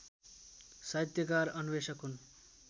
साहित्यकार अन्वेषक हुन्